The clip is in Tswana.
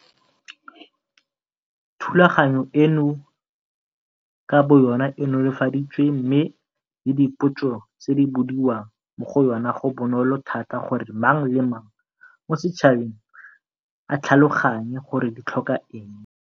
Thulaganyo eno ka boyona e nolofaditswe mme le dipotso tse di bodiwang mo go yona go bonolo thata gore mang le mang mo setšhabeng a tlhaloganye gore di tlhoka eng.